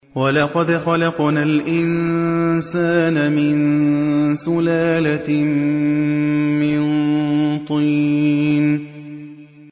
وَلَقَدْ خَلَقْنَا الْإِنسَانَ مِن سُلَالَةٍ مِّن طِينٍ